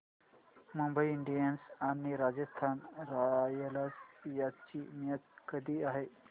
Mumbai Indians आणि Rajasthan Royals यांची match कधी आहे